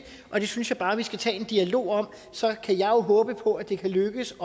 og det synes jeg bare vi skal tage en dialog om så kan jeg jo håbe på at det kan lykkes